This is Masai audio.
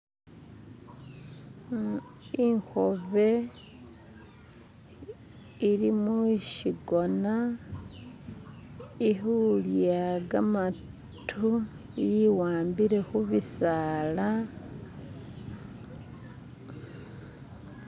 Ikhobe eri mukigoona ekulya gamatu ewambile kubisala